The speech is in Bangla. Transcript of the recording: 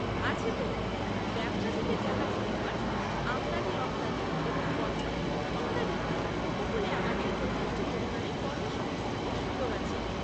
আছে তো। ব্যবসা থেকে জাহাজ নির্মাণ, আমদানি রপ্তানি এবং বন্দর ইত্যাদিতে উপকূলে আমাদের যথেষ্ট পরিমাণে কর্মসংস্থানের সুযোগ আছে।